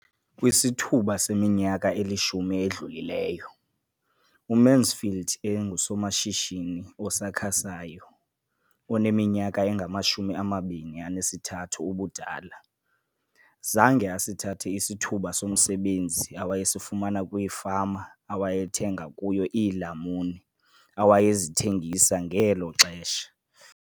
Kwisithuba seminyaka elishumi edlulileyo, uMansfield engusomashishini osakhasayo oneminyaka engama-23 ubudala, zange asithathe isithuba somsebenzi awayesifumana kwifama awayethenga kuyo iilamuni awayezithengisa ngelo xesha.